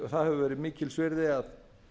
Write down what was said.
það hefur verið mikils virði að